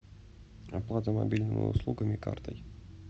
оплата мобильного услугами картой